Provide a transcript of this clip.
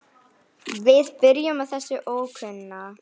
Við byrjum á þessum ókunna.